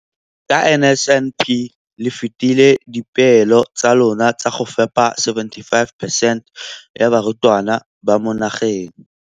Ka NSNP le fetile dipeelo tsa lona tsa go fepa masome a supa le botlhano a diperesente ya barutwana ba mo nageng.